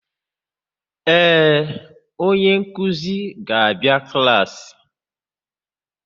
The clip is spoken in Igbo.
Ee, onye nkuzi ga-abịa klaasị.